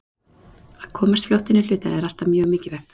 Að komast fljótt inn í hlutina er alltaf mjög mikilvægt.